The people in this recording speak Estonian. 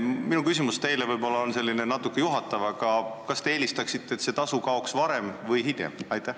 Minu küsimus teile on võib-olla selline natuke juhatav, aga kas te eelistaksite, et see tasu kaob varem või hiljem?